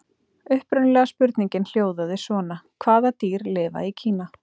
Upprunalega spurningin hljóðaði svona: Hvaða dýr lifa í Kína?